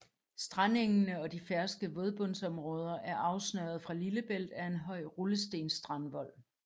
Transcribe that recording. Strandengene og de ferske vådbundsområder er afsnøret fra Lillebælt af en høj rullestensstrandvold